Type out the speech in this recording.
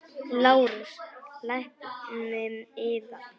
LÁRUS: Lækninn yðar?